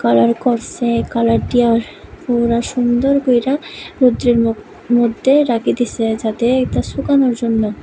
Colour করসে এই colour দিয়া পুরা সুন্দর কইরা রৌদ্রের ম-মদ্যে রাইখা দিসে যাতে এইতা শুকানোর জন্য।